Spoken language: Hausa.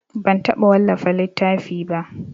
Ban taɓa wallafa littafi ba.